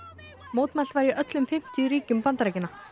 mótmælt var í öllum fimmtíu ríkjum Bandaríkjanna